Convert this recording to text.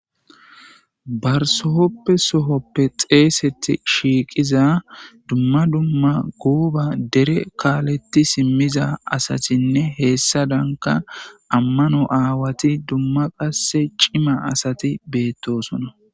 Barsohoppe sohoppe xeesetti shiiqiza dumma dumma guuba dere kaaletti simmiza asatinne heessa danka ammano aawati dumma qasse cima asati beettosona.